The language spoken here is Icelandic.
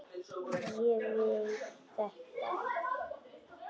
Ég veit þetta.